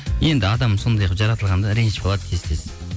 енді адам сондай қылып жаратылған да ренжіп қалады тез тез